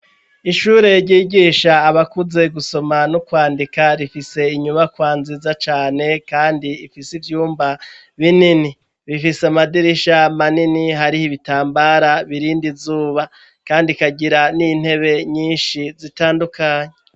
ishure ryigisha abakuze gusoma no kwandika rifise inyubakwa nziza cane kandi ifise ivyumba binini, bifise amadirisha manini, hariho ibitambara birind'izuba kandi ikagira n'intebe nyinshi zitandukanye.